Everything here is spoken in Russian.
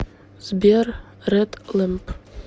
сбер ред лэмп